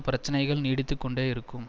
பிரச்சினைகள் நீடித்து கொண்டேயிருக்கும்